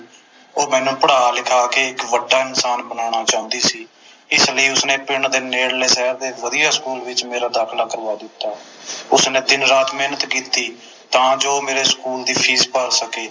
ਉਹ ਮੈਨੂੰ ਪੜ੍ਹਾ ਲਿਖਾ ਕੇ ਇਕ ਵੱਡਾ ਇਨਸਾਨ ਬਨਾਉਣਾ ਚਾਹੁੰਦੀ ਸੀ ਇਸ ਲਈ ਉਸਨੇ ਪਿੰਡ ਦੇ ਨੇੜਲੇ ਸ਼ਹਿਰ ਦੇ ਇਕ ਵਧੀਆ ਸਕੂਲ ਵਿਚ ਮੇਰਾ ਦਾਖਿਲਾ ਕਰਵਾ ਦਿੱਤਾ ਉਸਨੇ ਦਿਨ ਰਾਤ ਮੇਹਨਤ ਕੀਤੀ ਤਾ ਜੋ ਮੇਰੇ ਸਕੂਲ ਦੀ ਫੀਸ ਭਰ ਸਕੇ